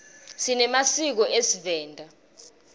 sinemasiko esivenda